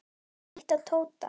Líttu á Tóta.